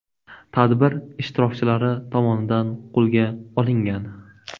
tadbir ishtirokchilari tomonidan qo‘lga olingan.